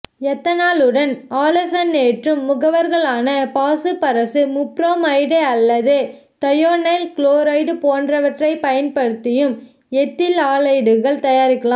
எத்தனாலுடன் ஆலசனேற்றும் முகவர்களான பாசுபரசு முப்புரோமைடு அல்லது தயோனைல் குளோரைடு போன்றவற்றை பயன்படுத்தியும் எத்தில் ஆலைடுகள் தயாரிக்கலாம்